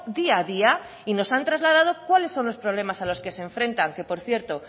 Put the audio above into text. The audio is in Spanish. día a día y nos han trasladado cuáles son los problemas a los que se enfrentan que por cierto